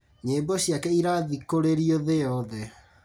Nyĩmbo ciake irathikũrĩrio thĩ yothe